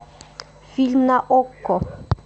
фильм на окко